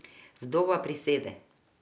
Vdova prisede.